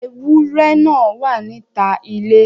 Ewúrẹ́ náà wà níta ilé.